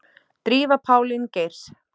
Drífa Pálín Geirs.